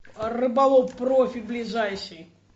рыболов профи ближайший